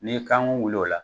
N'i ye kan wuli o la.